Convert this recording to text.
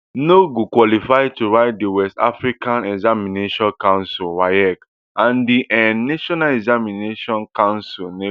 no go qualify to write di west african examinations council waec and di um national examinations council neco